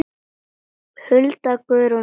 Hulda, Guðrún og Sigrún.